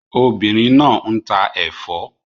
Obìnrin náà ń ta ẹ̀fọ́